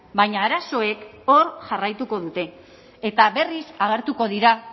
baina arazoek hor jarraituko dute eta berriz agertuko dira